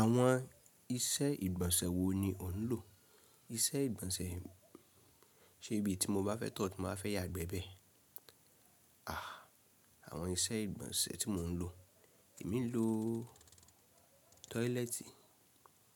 Àwọn iṣẹ́ ìgbọ̀nsẹ̀ wo ni ò ń lò? Iṣẹ́ ìgbọ̀nsẹ̀ ṣe bí tí mo bá fẹ́ tọ̀, tí mo bá fẹ́ ya gbẹ bẹ́ẹ̀. Ah Àwọn iṣẹ́ ìgbọ̀nsẹ̀ tí mò ń lò, èmi ń lò toilet.